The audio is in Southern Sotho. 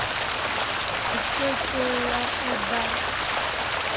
e ke ke ya eba